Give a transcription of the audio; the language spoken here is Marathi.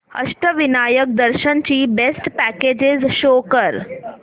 अष्टविनायक दर्शन ची बेस्ट पॅकेजेस शो कर